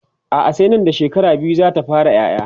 a'a sai Nan da shekara biyu zata fara ƴaƴa